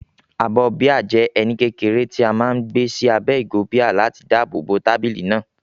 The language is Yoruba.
Abọ́ bíà jẹ́ ẹní kékeré tí a máa ń gbé sí abẹ́ ìgò bíà láti dáàbò bo tábìlì náà.